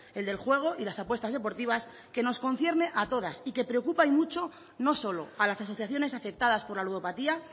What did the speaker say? el del juego y las apuestas deportivas que nos concierne a todas y que preocupa y mucho no solo a las asociaciones afectadas por la ludopatía